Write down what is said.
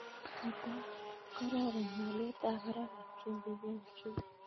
mata kororon haliyet ab barak ab chumbik eng' njuguk